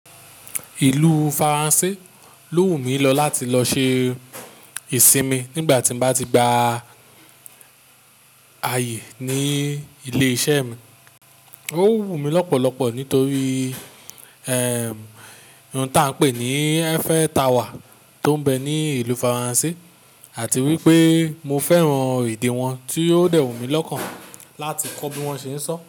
Ìlú Faransé ló wù mí lọ láti lọ ṣe ìsinmi nígbà tí mo bá ti gba àyè ní ilé iṣẹ́ mi. Ó wù mí lọ́pọ̀lọpọ̀ nítorí, ohun tí a ń pè ní Eiffel Tower tó ń bẹ ní ìlú Faransé àti wípé mo fẹ́ran èdè wọn tí yóò dẹ́wọ̀n mí lọ́kàn láti kọ́ bí wọ́n ṣe ń sọ.